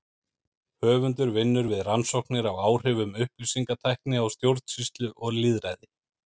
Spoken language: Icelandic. Höfundur vinnur við rannsóknir á áhrifum upplýsingatækni á stjórnsýslu og lýðræði.